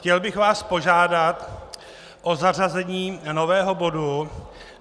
Chtěl bych vás požádat o zařazení nového bodu